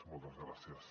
moltes gràcies